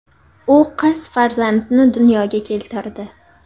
U qiz farzandni dunyoga keltirdi.